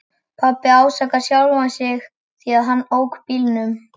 Pabbi ásakar sjálfan sig því að hann ók bílnum.